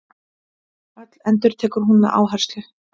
Öll, endurtekur hún með áherslu.